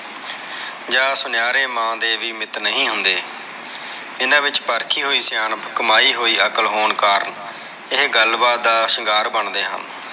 ਜਾ ਸੁਨਾਰੇ ਮਾਂ ਦੇ ਵੀ ਮਿੱਤ ਨਹੀਂ ਹੁੰਦੇ ਇਹਨਾਂ ਵਿਚ ਪਰਖੀ ਹੋਇ ਸਿਆਣਪ ਕਮਾਈ ਹੋਇ ਅਕਾਲ ਹੋਣ ਕਾਰਨ ਇਹ ਗੱਲ ਬਾਤ ਦਾ ਸ਼ਿੰਗਾਰ ਬਣਦੇ ਹਨ।